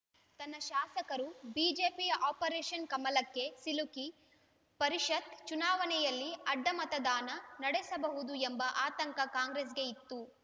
ತನ್ನ ಶಾಸಕರು ಬಿಜೆಪಿಯ ಆಪರೇಷನ್‌ ಕಮಲಕ್ಕೆ ಸಿಲುಕಿ ಪರಿಷತ್‌ ಚುನಾವಣೆಯಲ್ಲಿ ಅಡ್ಡಮತದಾನ ನಡೆಸಬಹುದು ಎಂಬ ಆತಂಕ ಕಾಂಗ್ರೆಸ್‌ಗೆ ಇತ್ತು